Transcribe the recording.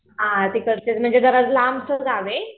हा तिकडचीच म्हणजे जरा लांबच गाव आहे